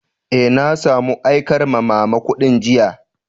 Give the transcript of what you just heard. Eh, na samo aikar ma'mama kudin jiya.